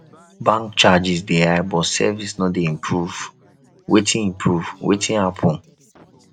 bank charges dey high but service no dey improve wetin improve wetin happen